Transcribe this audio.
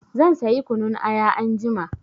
Zan sayi kunun aya anjima.